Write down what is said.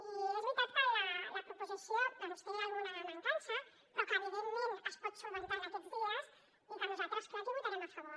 i és veritat que la proposició té alguna mancança però que evidentment es pot solucionar en aquests dies i que nosaltres clar que hi votarem a favor